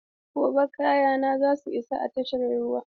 Gobe ​​kayana zasu isa tashar ruwa.